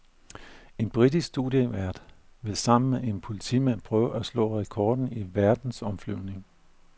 En britisk studievært vil sammen med en politimand prøve at slå rekorden i verdensomflyvning.